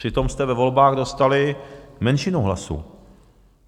Přitom jste ve volbách dostali menšinu hlasů.